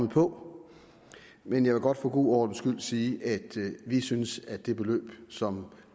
på men jeg vil godt for god ordens skyld sige at vi synes at det beløb som